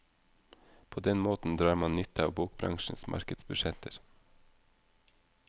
På den måten drar man nytte av bokbransjens markedsbudsjetter.